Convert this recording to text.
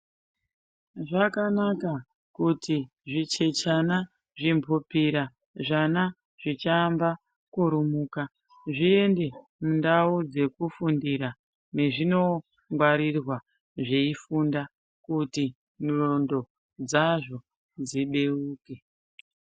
Zvakana kuti zvichechana zvimhupira, zvana zvichaamba kurumuma zviende kundau dzekufundira mwezvinongwarirwa zveifundira kuti ndxondo dzazvo dzibeuke.